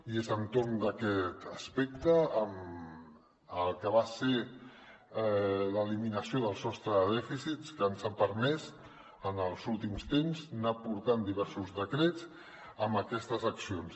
i és entorn d’aquest aspecte amb el que va ser l’eliminació del sostre de dèficit que ens ha permès en els últims temps anar portant diversos decrets amb aquestes accions